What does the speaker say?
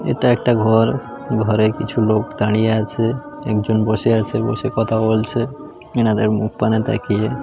এটা একটা ঘর ঘরে কিছু লোক দাঁড়িয়ে আছে একজন বসে আছে বসে কথা বলছে ইনাদের মুখপানে তাকিয়ে।